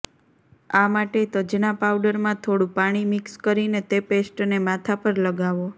આ માટે તજના પાઉડરમાં થોડું પાણી મિક્સ કરીને તે પેસ્ટને માથા પર લગાવો